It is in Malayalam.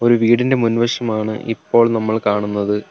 ഒരു വീടിന്റെ മുൻവശമാണ് ഇപ്പോൾ നമ്മൾ കാണുന്നത്.